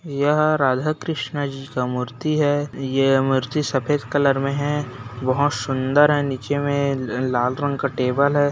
यह राधा-कृष्णा जी का मूर्ति है| ये मूर्ति सफेद कलर में है बहुत सुंदर है नीचे में लाल रंग का टेबल है।